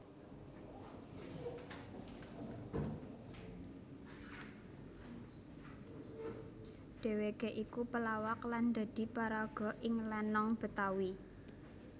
Dheweké iku pelawak lan dadi paraga ing lenong Betawi